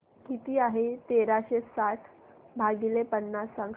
किती आहे तेराशे साठ भाग पन्नास सांगशील